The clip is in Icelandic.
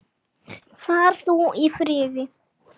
Far þú í friði.